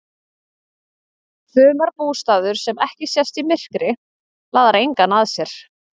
Sumarbústaður sem ekki sést í myrkri laðar engan að sér.